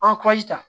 An kurazi ta